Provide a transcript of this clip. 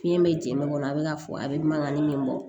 Fiɲɛ bɛ jɛnma a bɛ ka fɔ a bɛ mankan min bɔ